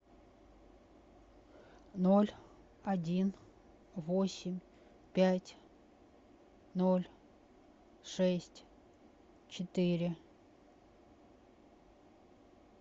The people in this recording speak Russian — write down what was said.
ноль один восемь пять ноль шесть четыре